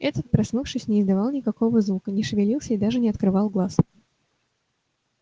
этот проснувшись не издавал никакого звука не шевелился и даже не открывал глаз